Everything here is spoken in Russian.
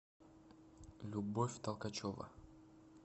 любовь толкачева